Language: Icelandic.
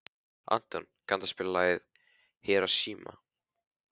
Anton, kanntu að spila lagið „Hiroshima“?